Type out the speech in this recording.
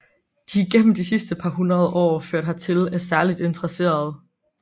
De er gennem de sidste par hundrede år ført hertil af særligt interesserede